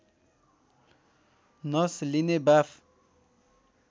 नस लिने बाफ